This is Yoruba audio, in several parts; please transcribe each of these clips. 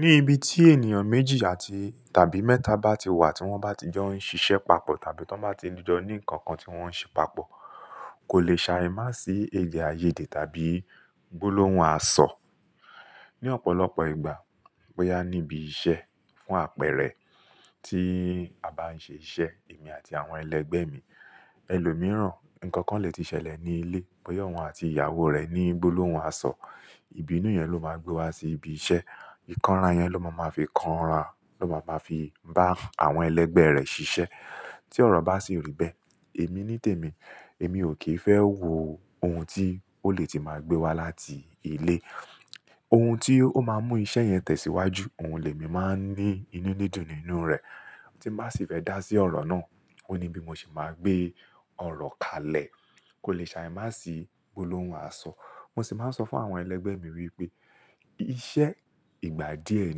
Ní ibi tí ènìyàn méjì àti tàbí mẹ́ta bá ti wà tí wọ́n bá ti jo ń ṣiṣẹ́ papọ̀ tàbí tí wọ́n bá ti dijo ní nǹkan kan tí wọ́n ń ṣe papọ̀ kò lè ṣàìmá sí èdè-áiyedé tàbí gbólóhùn àsọ̀. Ni ọ̀pọ̀lọpọ̀ ìgbà bóyá níbi iṣẹ́ fún àpẹẹrẹ tí a bá ń ṣe iṣẹ́ èmi àti àwọn ẹlẹgbẹ́ mi, ẹlòmíràn nǹkan kan lè ti ṣẹlẹ̀ ní ilé, bóyá òun àti ìyàwó rẹ̀ ní gbólóhùn àsọ̀, ibinú yẹn ló máa gbé wa sí ibi iṣẹ́. Ìkanra yẹn ló máa ma fi kanra, ló máa ma fi bá àwọn ẹlẹgbẹ́ rẹ̀ ṣiṣẹ́. Tí ọ̀rọ̀ bá sì rí bẹ́ẹ̀, èmi nítèmi, èmi ò kì í fẹ́ wo ohun tí ó lè ti máa gbé wa láti ilé. Ohun tí ó máa mú iṣẹ́ yẹn tẹ̀síwájú, òun lè mi máa ń ní inú ní dùn nínú rẹ̀. Tí bá sì fẹ́ dá sí ọ̀rọ̀ náà, ó ní bí mo se máa gbé ọ̀rọ̀ kalẹ̀, kò lè ṣàìmá sí gbólóhùn àsọ̀. Mo sì máa ń sọ fún àwọn ẹlẹgbẹ́ mi wípé iṣẹ́ ìgbà díẹ̀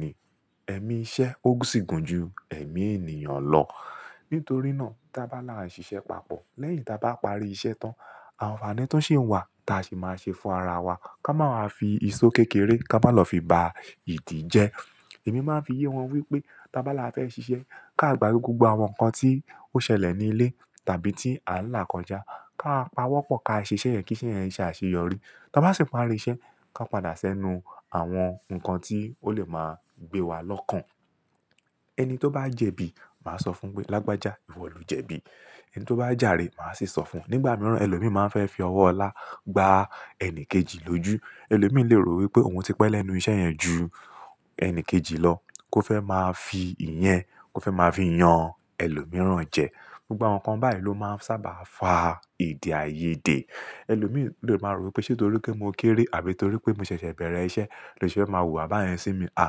ni, ẹ̀mí iṣẹ́ ó sì gùn ju ẹ̀mí ènìyàn lọ. Nítorí náà tá bá là ń ṣiṣẹ́ papọ̀ lẹ́yìn tá bá parí iṣẹ́ tán, àǹfààní tun ṣi wà ta sì máa ṣe fún ara wa ká máa wa fi ìṣó kékeré ká má lọ fi ba ìdí jẹ. Èmi máa ń fi yé wọn wípé tá bá là fẹ́ ṣiṣẹ́ ká gbágbe gbogbo àwọn nǹkan tí ó ṣẹlẹ̀ ní ilé tàbí tí ànlá kọjá káa pawọ́pọ̀ ká ṣe iṣẹ́ yẹn kí iṣẹ́ yẹn se àṣeyọrí. Tá bá sì parí iṣẹ́ ká padà sẹ́nu àwọn nǹkan tí ó lè máa gbé wa lọ́kàn. Ẹni tó bá jẹ̀bi, màá sọ fún un pé lágbàjá ìwọ ló jẹ̀bi. Ẹni tó bá jàre màá sì sọ fún nígbà mìíràn ẹlòmíràn máa ń fẹ́ fi ọwọ́ ọlá gba ẹni kejì lójú. Ẹlòmíràn lè rò wípé ohun tí pẹ́ lẹ́nu iṣẹ́ yẹn ju ẹni kejì lọ, kó fẹ́ máa fi ìyẹn kó fẹ́ máa fi yan ẹlòmíràn jẹ. Gbogbo àwọn nǹkan báyìí ló máa ń sábà fa edè-áiyedé. Ẹlòmíràn lè máa rò wípé ṣe tó rí pé mo kéré àbí torí pé mo ṣẹ̀ṣẹ̀ bẹ̀rẹ̀ iṣẹ́ ló ṣe máa wùwà bá yẹn sí mi. À!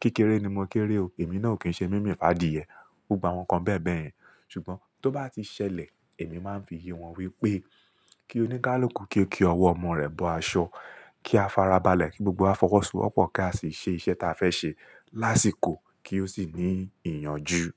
Kékéré ni mo kéré o èmi náà ò kí ń ṣe mímì fadiye. Gbogbo àwọn nǹkan bẹ́ẹ̀bẹ́ẹ̀ yẹn. Ṣùgbọ́n tó bá ti ṣẹlẹ̀ èmi máa ń fi yé wọn wípé kí oníkálùkù kí ó ki ọwọ́ ọmọ rẹ̀ bọ aṣọ, kí a farabalẹ̀ kí gbogbo wa fọwọ́sọwọ́pọ̀ ká sì ṣe iṣẹ́ tí a fẹ́ ṣe lásìkò kí ó sì ní ìyànjú.